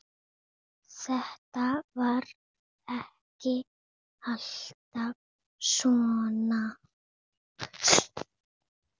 Þetta var ekki alltaf svona.